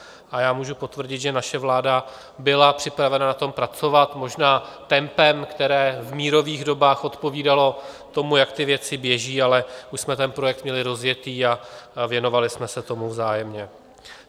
A já můžu potvrdit, že naše vláda byla připravena na tom pracovat, možná tempem, které v mírových dobách odpovídalo tomu, jak ty věci běží, ale už jsme ten projekt měli rozjetý a věnovali jsme se tomu vzájemně.